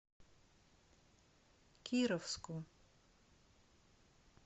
кировску